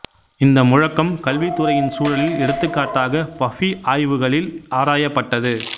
இந்த முழக்கம் கல்வித் துறையின் சூழலில் எடுத்துக்காட்டாக பஃபி ஆய்வுகளில் ஆராயப்பட்டது